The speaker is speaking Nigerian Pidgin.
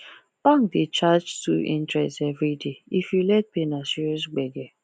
bank dey charge two interest every day if you late pay na serious gbege